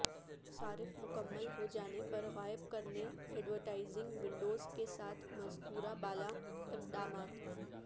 صارف مکمل ہو جانے پر غائب کرنے ایڈورٹائزنگ ونڈوز کے ساتھ مذکورہ بالا اقدامات